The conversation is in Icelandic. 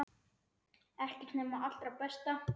Ekkert nema það allra besta.